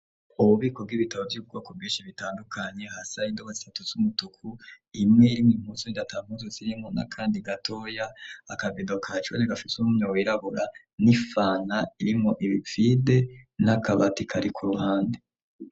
Ububiko bw'ibitabo vy'ubwoko bwinshi butandukanye, hasi hari indobo zitatu z'umutuku, imwe irimwo impuzu, iyindi ata mpuzu zirimwo, n'akandi gatoya, akabido ka jone gafise umunwa wirabura n'ifanta irimwo ibi vide n'akabati kari ku ruhande.